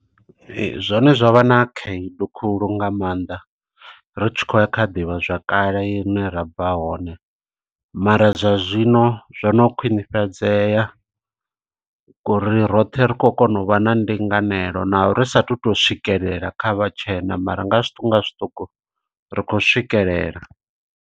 Zwone zwa vha na khaedu khulu nga maanḓa, ri tshi khou ya kha ḓivha zwakale, i ne ra bva hone. Mara zwa zwino zwo no khwinifhadzeya, ngo uri roṱhe ri khou kona u vha na ndinganelo na, ri sa athu u to swikelela kha vhatshena, mara nga zwiṱuku nga zwiṱuku ri khou swikelela.